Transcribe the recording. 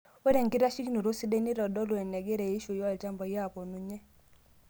Ore enkitasheikinoto sidai neitodolu enengira eishioi olchambai oponunye.